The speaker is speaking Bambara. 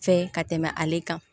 Fɛ ka tɛmɛ ale kan